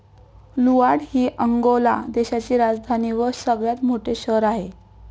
Luanda हि Angola देशाची राजधानी व सगळ्यात मोठे शहर आहे.